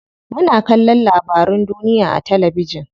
Muna kallon labarun duniya a talabijin.